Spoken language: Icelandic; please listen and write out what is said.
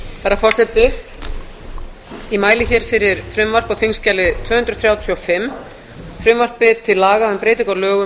herra forseti ég mæli fyrir frumvarpi á þingskjali tvö hundruð þrjátíu og fimm frumvarpi til laga um breytingu á lögum